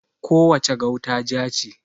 Ko wace gauta ja ce.